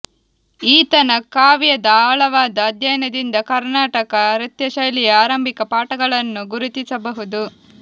ಈತನ ಕಾವ್ಯದ ಆಳವಾದ ಅಧ್ಯಯನದಿಂದ ಕರ್ನಾಟಕ ನೃತ್ಯಶೈಲಿಯ ಆರಂಭಿಕ ಪಾಠಗಳನ್ನು ಗುರುತಿಸಬಹುದು